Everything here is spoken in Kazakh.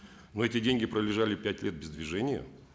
но эти деньги пролежали пять лет без движения